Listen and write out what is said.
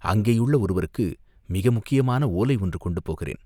அங்கேயுள்ள ஒருவருக்கு மிக முக்கியமான ஓலை ஒன்று கொண்டு போகிறேன்.